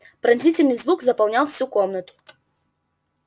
пронзительный звук заполнял всю комнату